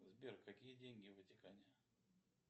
сбер какие деньги в ватикане